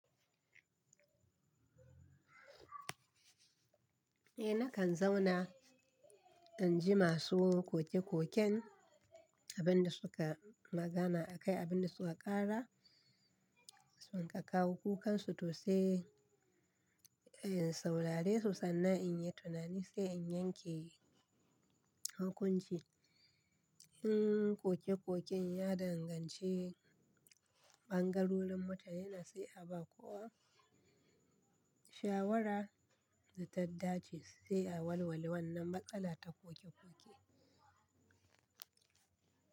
Eh nakan zauna in ji masu koke-koken abin da su ka magana akai, abin da su ka ƙara, su ka kawo kukansu to sai in saurare su sannan in yi tunani sai in yanke hukunci. In koke-koken ya danganci ɓangarorin wata yanarsa a ba kowa shawara da ta dace sai a walwali wannan matsala ta koke-koke.